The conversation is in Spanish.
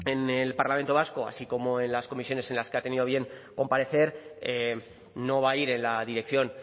en el parlamento vasco así como en las comisiones en las que ha tenido a bien comparecer no va a ir en la dirección